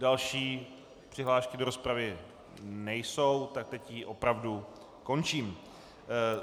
Další přihlášky do rozpravy nejsou, tak teď ji opravdu končím.